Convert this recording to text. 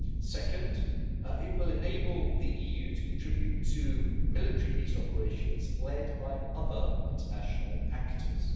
Second, it will enable the EU to contribute to military peace operations led by other international actors.